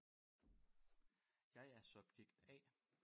Jeg er subjekt A